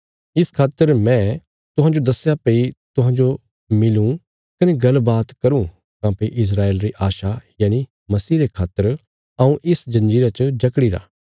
इस खातर मैं तुहांजो सदया भई तुहांजो मिलूँ कने गलबात करूँ काँह्भई इस्राएल री आशा यनि मसीह रे खातर हऊँ इस जंजीरा च जकड़ी रा